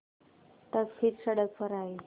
तब फिर सड़क पर आये